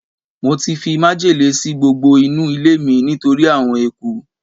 mo ti fi májèlé si gbogbo inu ilé mi nitori awon eku